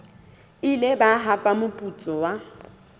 ile ba hapa moputso wa